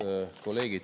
Head kolleegid!